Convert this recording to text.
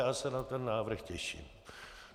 Já se na ten návrh těším.